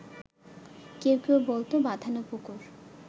কেউ কেউ বলত বাঁধানো পুকুর